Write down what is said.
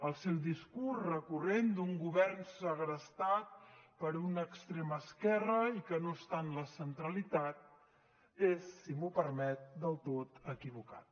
el seu discurs recurrent d’un govern segrestat per una extrema esquerra i que no està en la centralitat és si m’ho permet del tot equivocat